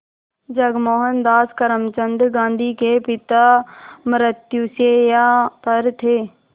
जब मोहनदास करमचंद गांधी के पिता मृत्युशैया पर थे